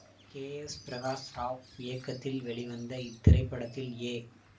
K S Prakash Rao இயக்கத்தில் வெளிவந்த இத்திரைப்படத்தில் ஏ